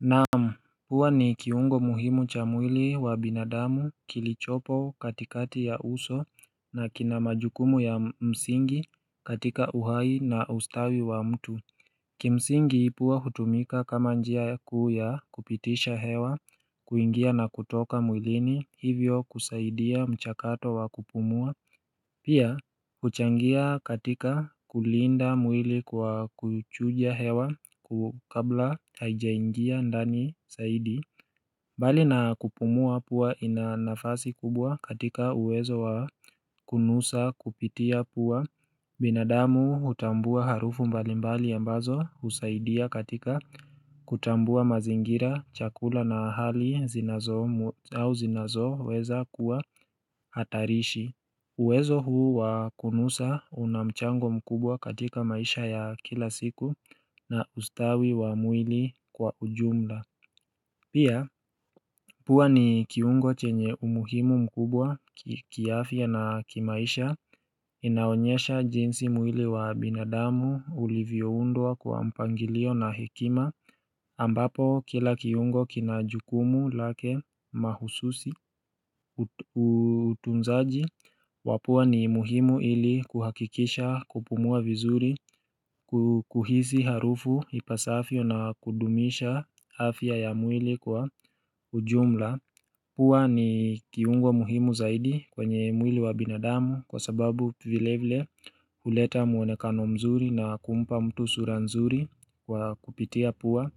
Naam huwa ni kiungo muhimu cha mwili wa binadamu kilichopo katikati ya uso na kina majukumu ya msingi katika uhai na ustawi wa mtu Kimsingi pua hutumika kama njia kuu ya kupitisha hewa, kuingia na kutoka mwilini hivyo kusaidia mchakato wa kupumua Pia huchangia katika kulinda mwili kwa kuchuja hewa kabla hajaingia ndani zaidi Bali na kupumua pua ina nafasi kubwa katika uwezo wa kunusa kupitia pua binadamu hutambua harufu mbalimbali ambazo husaidia katika kutambua mazingira, chakula na hali zinazo au zinazoweza kuwa hatarishi uwezo huu wa kunusa una mchango mkubwa katika maisha ya kila siku na ustawi wa mwili kwa ujumla. Pia, pua ni kiungo chenye umuhimu mkubwa kiafya na kimaisha inaonyesha jinsi mwili wa binadamu ulivyoundwa kwa mpangilio na hekima ambapo kila kiungo kina jukumu lake mahususi, utunzaji. Wa pua ni muhimu ili kuhakikisha kupumua vizuri kuhisi harufu ipasavyo na kudumisha afya ya mwili kwa ujumla pua ni kiungo muhimu zaidi kwenye mwili wa binadamu kwa sababu vile vile huleta mwonekano mzuri na kumpa mtu sura nzuri kwa kupitia pua.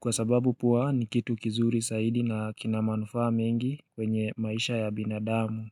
Kwa sababu pua ni kitu kizuri zaidi na kina manufaa mengi kwenye maisha ya binadamu.